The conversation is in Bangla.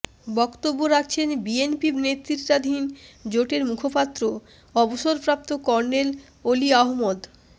বক্তব্য রাখছেন বিএনপি নেতৃত্বাধীন জোটের মুখপাত্র অবসরপ্রাপ্ত কর্নেল অলি আহমদ